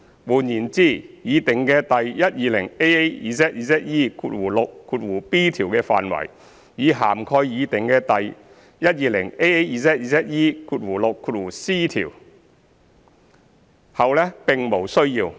換言之，擬訂的第 120AAZZE6b 條的範圍已涵蓋擬訂的第 120AAZZE6c 條，後者並無需要。